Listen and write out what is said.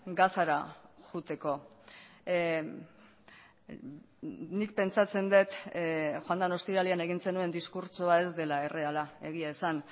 gazara joateko nik pentsatzen dut joan den ostiralean egin zenuen diskurtsoa ez dela erreala egia esan